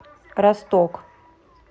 росток